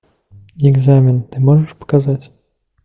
экзамен ты можешь показать